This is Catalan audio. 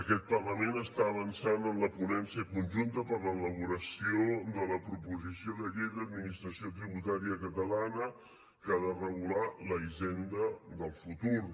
aquest parlament està avançant en la ponència conjunta per a l’elaboració de la proposició de llei d’administració tributària catalana que ha de regular la hisenda del futur